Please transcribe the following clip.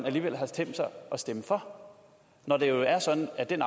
alligevel har tænkt sig at stemme for når det jo er sådan at den